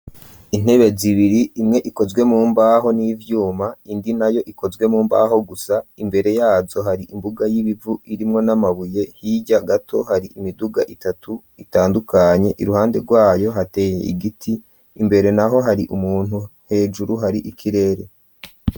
Intebe zibiri imwe ikozwe mumbaho n'ivyuma iyindi nayo ikozwe mumbaho gusa imbere yazo hari imbuga y'ibivu irimwo n'amabuye hiryya gato hari imiduga itatu itandukanye iruhande rwayo hateye igiti imbere naho hari umuntu hejuru hari ikirere.